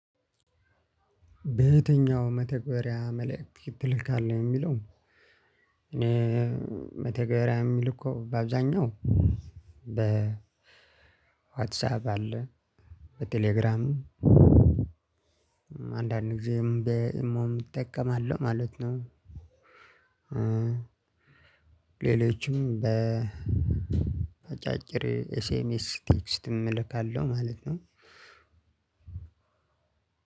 በየትኛው መተግበሪያ መልእክት ትልካለህ? የሚለው እኔ መተግበሪያ የምልከው በአብዛኛው በዋትሳፕ አለ፣ በቴሌግራም አንዳንድ ጊዜም በኢሞም እጠቀማለሁ ማለት ነው። ሌሎችም በአጫጭር ኤስ ኤም ቴክስትም እልካለሁ ማለት ነው።